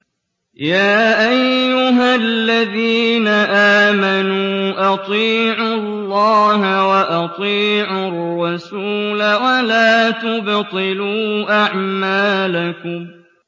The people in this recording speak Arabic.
۞ يَا أَيُّهَا الَّذِينَ آمَنُوا أَطِيعُوا اللَّهَ وَأَطِيعُوا الرَّسُولَ وَلَا تُبْطِلُوا أَعْمَالَكُمْ